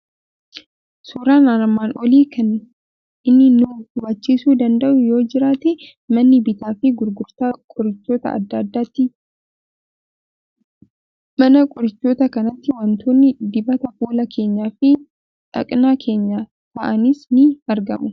Suuraan armaan olii kan 8nni nu hubachiiisuu danda'u yoo jiraate, mana bittaa fi gurgurtaa qorichoota adda addaati. Mana qorichoota kanaatti wantoonni dibata fuula keenyaa fi dhaqna kèenyaa ta'anis ni argamu.